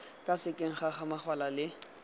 ka sekeng ga samaganwa le